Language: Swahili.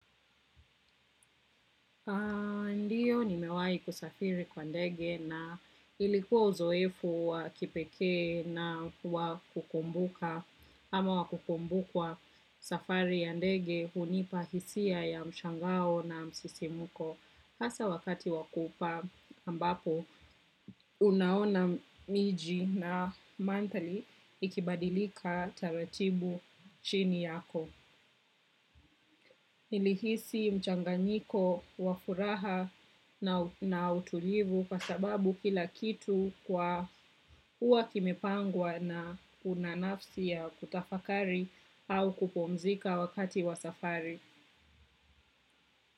Ndiyo nimewai kusafiri kwa ndege na ilikuwa uzoefu wakipekee na wakukumbuka ama wakukumbukwa. Safari ya ndege hunipahisia ya mshangao na msisimuko. Hasa wakati wakupaa, ambapo, unaona miji na manthali ikibadilika, taratibu chini yako. Nilihisi mchanganyiko wa furaha na utulivu kwa sababu, kila kitu kwa huwa kimepangwa na unanafsi ya kutafakari au kupumzika wakati wa safari.